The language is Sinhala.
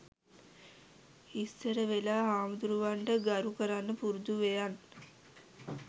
ඉස්සරවෙලා හාමුදුරුවන්ට ගරු කරන්න පුරුදු වෙයන්